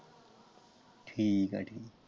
ਠੀਕ ਹੈ।